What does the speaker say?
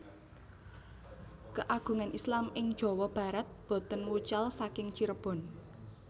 Keagungan Islam ing Jawa Barat boten wucal saking Cirebon